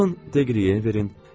Alın, Deqriyenə verin.